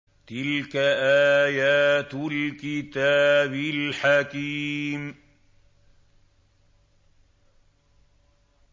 تِلْكَ آيَاتُ الْكِتَابِ الْحَكِيمِ